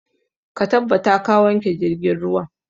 Ka tabbata ka wanke jirgin ruwan!